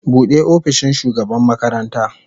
Bude opishin shugaban makaranta.